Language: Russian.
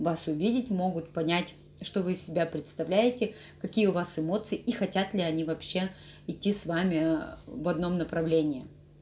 вас увидеть могут понять что вы из себя представляете какие у вас эмоции и хотят ли они вообще идти с вами в одном направлении